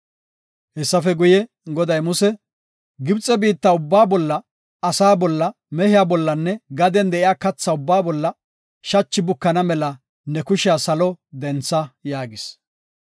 Hessafe guye, Goday Museko, “Gibxe biitta ubbaa bolla, asa bolla, mehiya bollanne gaden de7iya katha bolla shachi bukana mela ne kushiya salo dentha” yaagis.